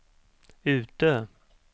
Utö